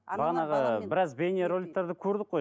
біраз бейне роликтерді көрдік қой